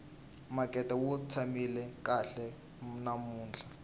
makete wu tshamile kahle namuntlha